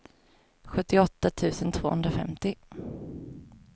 sjuttioåtta tusen tvåhundrafemtio